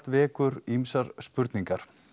vekur ýmsar spurningar